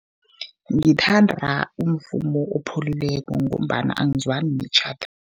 Ngithanda umvumo opholileko, ngombana angizwani netjhada.